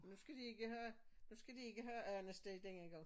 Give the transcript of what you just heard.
Nu skal de ikke have nu skal de ikke have andesteg denne gang